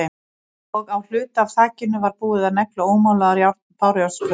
Og á hluta af þakinu var búið að negla ómálaðar bárujárnsplötur.